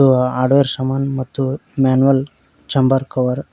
ಇದು ಹಾರ್ಡ್ವೇರ್ ಸಮಾನ್ ಮತ್ತು ಮ್ಯಾನುವಲ್ ಚೆಂಬರ್ ಕವರ್ --